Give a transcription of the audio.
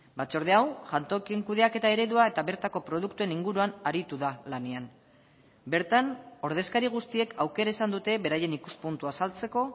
batzorde hau jantokien kudeaketa eredua eta bertako produktuen inguruan aritu da lanean bertan ordezkari guztiek aukera izan dute beraien ikuspuntua azaltzeko